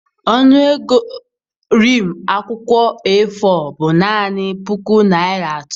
Ọnụ ego rim akwụkwọ A4 bụ naanị puku naira atọ.